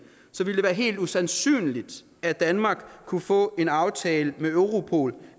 været helt usandsynligt at danmark kunne få en aftale med europol